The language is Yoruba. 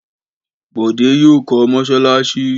Bọ̀dé yóò kọ́ mọ́ṣáláṣí.